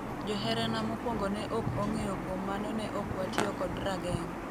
"Joherana mokuongo ne ok ong'eyo kuom mano ne okwatiyo kod rageng'.